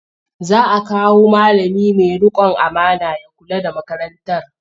Za a kawo malami mai riƙon amana ya kula da makarantar.